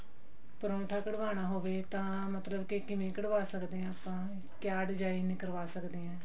ਪਰਾਂਠਾ ਕਢਵਾਨਾ ਹੋਵੇ ਤਾਂ ਮਤਲਬ ਕੇ ਕਿਵੇਂ ਕਢਵਾ ਸਕਦੇ ਆਂ ਆਪਾਂ ਕਿਆ design ਕਰਵਾ ਸਕਦੇ ਆਂ